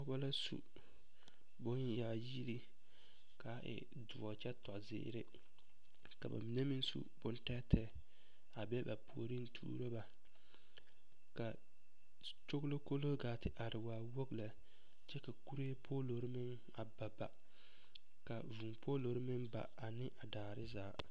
Pɔgeba la su bonyaayiri k,a e doɔ kyɛ tɔ zeere ka ba mine meŋ su bontɛɛtɛɛ a be ba puoriŋ tuuro ba ka kyoglokoroo gaa te are waa wogi lɛ kyɛ ka kuree poolori meŋ a ba ba ka vūū poolori meŋ ba ane a daare zaa.